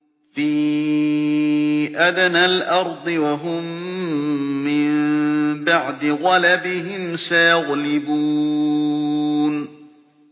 فِي أَدْنَى الْأَرْضِ وَهُم مِّن بَعْدِ غَلَبِهِمْ سَيَغْلِبُونَ